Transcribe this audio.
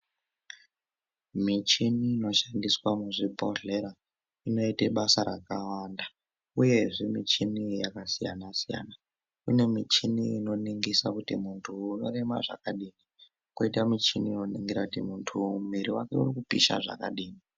Michini inoshandiswa muzvibhodhlera inoite basa rakawanda uyezve michini iyi yakasiyanasiyana. Kune michini inoningira kuti muntu uyu unorema zvakadini, koita muchini unoningira kuti muntu uyu mwiri wake uri kupisha zvakadini.